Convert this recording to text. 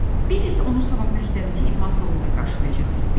Biz isə onu sabah məktəbimizin idman salonunda qarşılayacağıq.